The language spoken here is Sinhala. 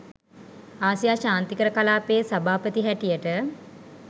ආසියා ශාන්තිකර කලාපයේ සභාපති හැටියට